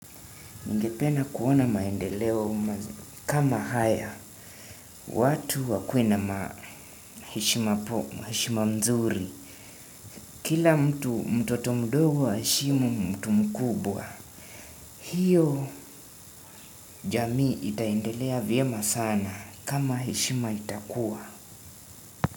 Ningependa kuona maendeleo kama haya. Watu wakuwe na ma heshima mzuri. Kila mtu mtoto mdogo a heshimu mtu mkubwa. Hiyo jamii itaendelea vyema sana kama heshima itakuwa.